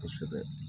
Kosɛbɛ